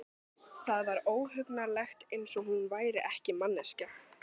Það var óhugnanlegt, eins og hún væri ekki manneskja.